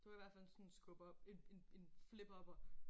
Det var i hvert fald en sådan en skub op en en en flip up'er